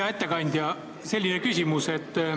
Hea ettekandja, selline küsimus.